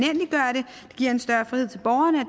giver en større frihed til borgerne